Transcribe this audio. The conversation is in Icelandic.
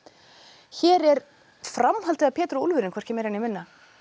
hér er framhaldið af Pétur og úlfurinn hvorki meira né minna